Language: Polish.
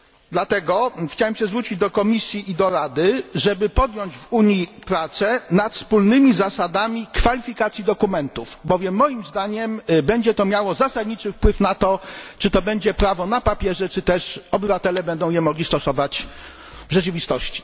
Dlatego chciałbym zwrócić się do Komisji i do Rady, żeby podjąć w Unii prace nad wspólnymi zasadami kwalifikacji dokumentów, bowiem moim zdaniem będzie to miało zasadniczy wpływ na to, czy to będzie prawo na papierze, czy też obywatele będą je mogli stosować w rzeczywistości.